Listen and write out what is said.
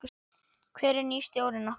Hver er nýi stjórinn okkar?